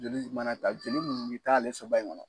Jeli mana ta jeli ninnu bi t'ale saba in ŋɔnɔ